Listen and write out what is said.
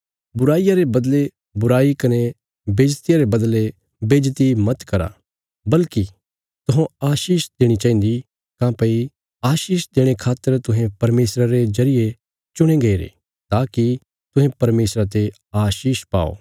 बुराईया रे बदले बुराई कने बेईज्जतिया रे बदले बेईज्जति मत करा बल्कि तुहौं आशीष देणी चाहिन्दी काँह्भई आशीष देणे खातर तुहें परमेशरा रे जरिये चुणे गईरे ताकि तुहें परमेशरा ते आशीष पाओ